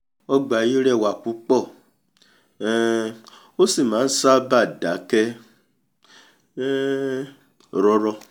ọgbà yìí rẹwà púpọ̀ um ó sì máa n ṣábàá dákẹ́ um rọ́rọ́